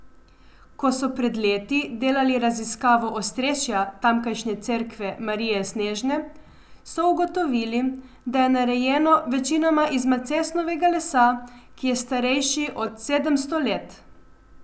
Ko so pred leti delali raziskavo ostrešja tamkajšnje cerkve Marije Snežne, so ugotovili, da je narejeno večinoma iz macesnovega lesa, ki je starejši od sedemsto let.